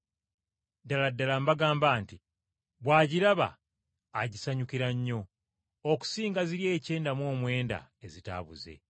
Ddala ddala mbagamba nti, bw’agiraba agisanyukira nnyo okusinga ziri ekyenda mu omwenda ezitaabuze.